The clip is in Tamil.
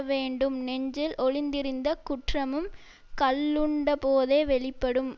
வேண்டும் நெஞ்சில் ஒளிந்திருந்த குற்றமும் கள்ளுண்டபோதே வெளிப்படும்